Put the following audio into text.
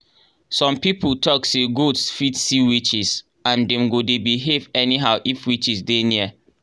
some people talk say goats fit see witches and dem go dey behave anyhow if witches dey near.